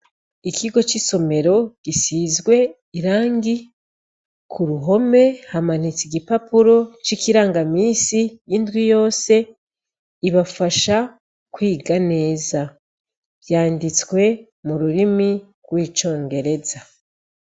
Ikigo c'isomero gisizwe irangi, ku ruhome hamanitse igipapuro c'ikirangamisi y'indwi yose ibafasha kwiga neza. Vyanditswe mu rurimi rw'icongereza.